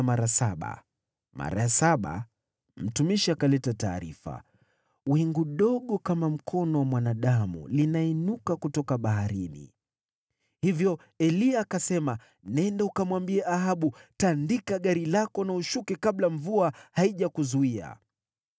Mara ya saba, mtumishi akaleta taarifa, “Wingu dogo kama mkono wa mwanadamu linainuka kutoka baharini.” Hivyo Eliya akasema, “Nenda ukamwambie Ahabu, ‘Tandika gari lako na ushuke kabla mvua haijakuzuia.’ ”